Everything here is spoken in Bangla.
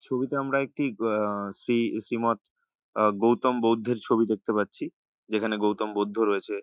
ছবিতে আমরা একটি আহ শ্রী শ্রীমত আ গৌতম বৌদ্ধের ছবি দেখতে পাচ্ছি। যেখানে গৌতম বৌদ্ধ রয়েছে।